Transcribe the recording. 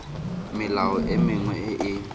melao e mengwe e e